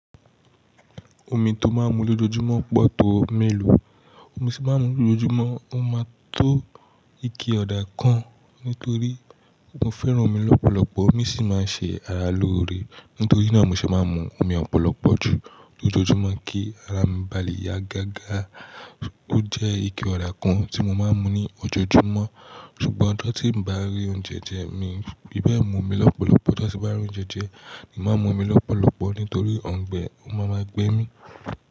Omi tó máa ń mu lójoojúmọ́ pọ̀ tó mélòó, omi tí mo máa ń mu lójoojúmọ́ ó máa tó ike ọ̀dà kan nítorí mo fẹ́ràn omi lọ́pọ̀lọpọ̀. Omi sì máa ń ṣe ara lóore, nítorí náà mo ṣe máa ń mu omi ọ̀pọ̀lọpọ̀ jù lójoojúmọ́ kí ara mi ba lè yá gágá. Ó jẹ́ ike ọ̀dà kan tí mo máa ń mu ní ojoojúmọ́. Ṣùgbọ́n ọjọ́ tí n bá rí oúnjẹ jẹ mí n fi bẹ́ẹ̀ mo mu omi lọ́pọ̀lọpọ̀, ọjọ tí bá rí oúnjẹ jẹ, èmi máa ń mu omi lọ́pọ̀lọpọ̀ nítorí ọ̀ǹgbẹ́ ó máa ma gbẹ mí.